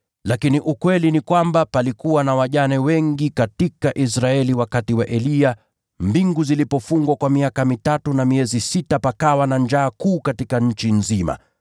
Lakini ukweli ni kwamba palikuwa na wajane wengi katika Israeli wakati wa Eliya, mbingu zilipofungwa kwa miaka mitatu na miezi sita pakawa na njaa kuu katika nchi nzima.